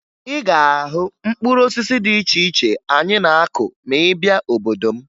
Ị ga-ahụ mkpụrụ osisi dị iche iche anyị na-akụ ma ị bịa n'obodo m